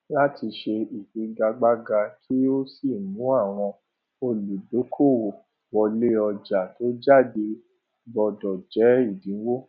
láti ṣe ìfigagbága kí ó sì mú àwọn olùdókòòwò wọlé ọjà tó jáde gbódò jé èdínwó